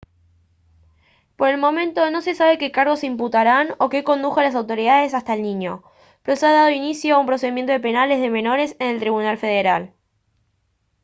por el momento no se sabe qué cargos se imputarán o qué condujo a las autoridades hasta el niño pero se ha dado inicio a procedimientos penales de menores en el tribunal federal